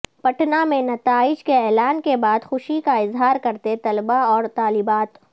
پٹنہ میں نتائج کے اعلان کے بعد خوشی کا اظہار کرتے طلبہ و طالبات